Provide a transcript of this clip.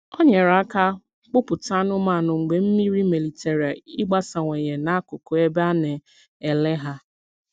Ọ nyere aka kpụ̀pụta anụ́manụ mgbe mmiri maliterè ịgbasawanye n’akụkụ ebe a na-ele ha.